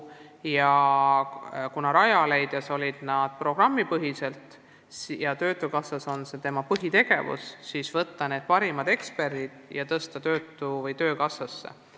Kuna Rajaleidjas on see töö käinud programmipõhiselt, töökassas on see aga personali põhitegevus, siis otsustati parimad eksperdid koondada töökassasse.